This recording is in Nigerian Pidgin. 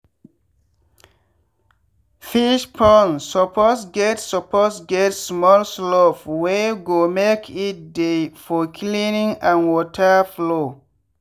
fish pond suppose get suppose get small slope wey go make it dey for cleaning and water flow.